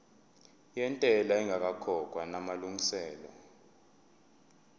yentela ingakakhokhwa namalungiselo